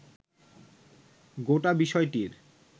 গোটা বিষয়টির